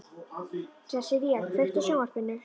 Sessilía, kveiktu á sjónvarpinu.